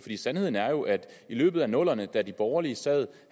sandheden er jo at i løbet af nullerne da de borgerlige sad